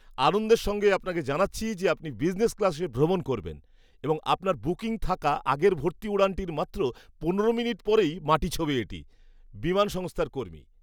আনন্দের সঙ্গে আপনাকে জানাচ্ছি যে আপনি বিজনেস ক্লাসে ভ্রমণ করবেন এবং আপনার বুকিং থাকা আগের ভর্তি উড়ানটির মাত্র পনেরো মিনিট পরেই মাটি ছোঁবে এটি। বিমান সংস্থার কর্মী